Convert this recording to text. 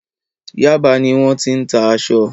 Yaba ni wọ́n ti ń tà aṣọ.